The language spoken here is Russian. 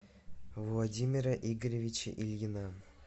владимира игоревича ильина